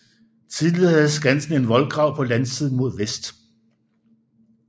Tidligere havde Skansen en voldgrav på landsiden mod vest